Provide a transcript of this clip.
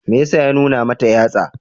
Me ya sa ya nuna mata yatsa?